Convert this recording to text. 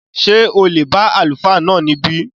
Ṣé o lè bá Àlùfáà náà níbí?